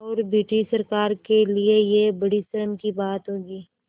और ब्रिटिश सरकार के लिये यह बड़ी शर्म की बात होगी